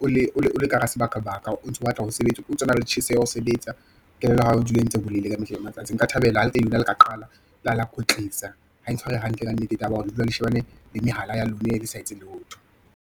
o le ka hara sebaka baka o ntso batla ho sebetsa, o tsona le tjheseho ho sebetsa. Kelello ya hao e dule e ntse e bolaile ka mehla le matsatsi. Nka thabela ha le ke le ka qala la kwetlisa, ha e ntshware hantle ka nnete, taba ya hore le dula le shebane le mehala ya lona, le sa etse letho.